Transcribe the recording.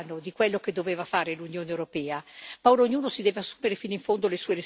L'Italia ha fatto molto da sola, su questo piano, di ciò che doveva fare l'Unione europea.